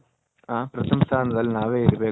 ಹ ಪ್ರಥಮ ಸ್ಥಾನದಲ್ಲಿ ನವೆ ಇರ್ಬೇಕು